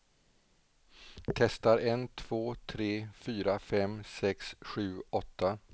Testar en två tre fyra fem sex sju åtta.